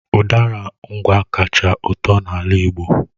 Udara Ngwá kacha ụtọ na ala Igbo